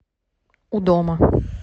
у дома